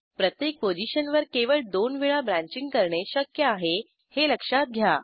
प्रत्येक पोझिशनवर केवळ दोन वेळा ब्रँचिंग करणे शक्य आहे हे लक्षात घ्या